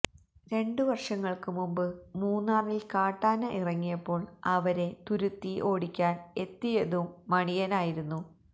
രണ്ട് വർഷങ്ങൾക്കു മുമ്പ് മൂന്നാറിൽ കാട്ടാന ഇറങ്ങിയപ്പോൾ അവരെ തുരുത്തി ഓടിക്കാൻ എത്തിയതും മണിയനായിരുന്നു